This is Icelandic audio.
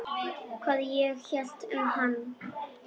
Hvað ég hélt um hann?